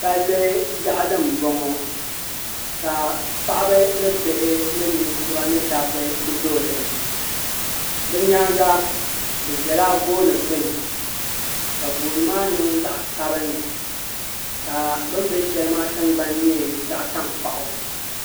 Palli yaɣali n bɔŋo paɣaba ni bihi ni ninkura ni dabba ku zooyi din ni bi nyaanga bi ʒɛla gooni gbuni ka gooni maa niŋ zaɣa sabinli ka bin bɛ shɛli maa tingbani nyɛ zaɣa tankpaɣu.